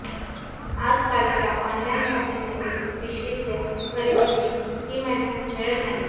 आजकालच्या ऑनलाईन शॉपिंगमध्ये पिशवीतल्या खरेदीची ती मजा मिळत नाही